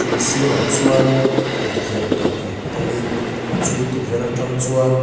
mi sirah chuan tukverh pahnih awmin chu tukverh atang chuan--